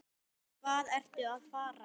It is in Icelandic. Hvað ertu að fara?